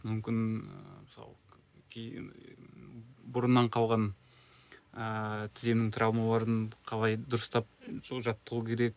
мүмкін ыыы мысалы кей бұрыннан қалған ыыы тіземнің травмаларын қалай дұрыстап сол жаттығу керек